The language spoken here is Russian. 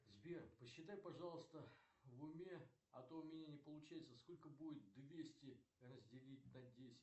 сбер посчитай пожалуйста в уме а то у меня не получается сколько будет двести разделить на десять